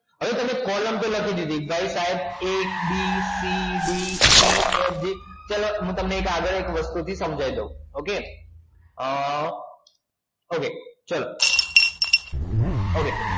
હવે તમે કૉલમ તો લખી દીધી a b c d e f ચાલો હવે તમને હું એક વસ્તુ થી સમજાય દવ okay okay ચાલો